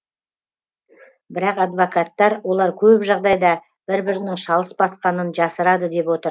бірақ адвокаттар олар көп жағдайда бір бірінің шалыс басқанын жасырады деп отыр